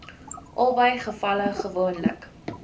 albei gevalle gewoonlik